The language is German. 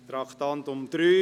Wir kommen zum Traktandum 3.